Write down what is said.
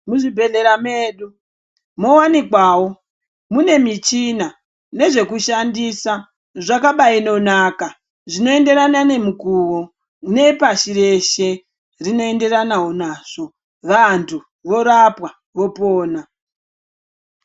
Muzvibhehlera medu mowanikwawo mune michina nezvekushandisa zvakabaidonaka zvinoenderana nemukuwo nepashi reshe rinoenderanawo nazvo. Vantu vorapwa vopona.